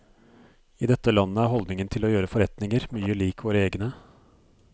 I dette landet er holdningen til å gjøre forretninger mye lik våre egne.